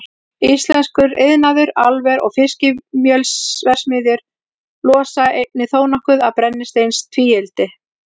Íslenskur iðnaður, álver og fiskimjölsverksmiðjur losa einnig þónokkuð af brennisteinstvíildi.